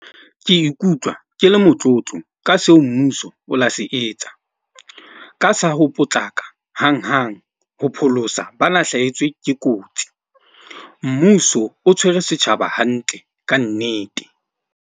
Ke ikutlwa ke le motlotlo ka seo mmuso o la se etsa, ka sa ho potlaka hanghang ho pholosa ba na hlahetswe ke kotsi. Mmuso o tshwere setjhaba hantle ka nnete.